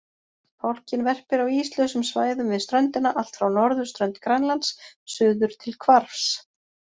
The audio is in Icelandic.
Fálkinn verpir á íslausum svæðum við ströndina allt frá norðurströnd Grænlands suður til Hvarfs.